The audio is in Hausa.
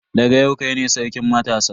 Daga yau kai ne sarkin matasa.